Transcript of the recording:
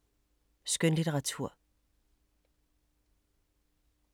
Skønlitteratur